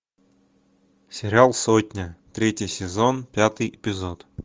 сериал сотня третий сезон пятый эпизод